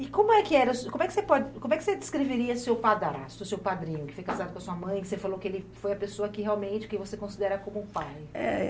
E como é que era, como é que você pode, como é que você descreveria seu padrasto, o seu padrinho, que foi casado com a sua mãe, que você falou que ele foi a pessoa que realmente que você considera como um pai? Eh...